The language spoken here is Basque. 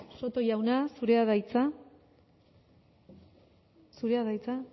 soto jauna zurea da hitza zurea da hitza